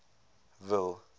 ville